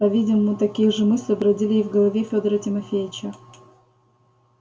по-видимому такие же мысли бродили и в голове федора тимофеича